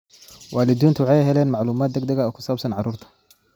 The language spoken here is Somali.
Waalidiintu waxay helaan macluumaad degdeg ah oo ku saabsan carruurta.